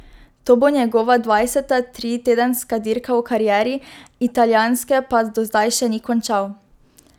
To bo njegova dvajseta tritedenska dirka v karieri, italijanske pa do zdaj še ni končal.